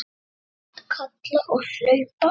Harald kalla og hlaupa.